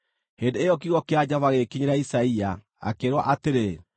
Hĩndĩ ĩyo kiugo kĩa Jehova gĩgĩkinyĩra Isaia, akĩĩrwo atĩrĩ,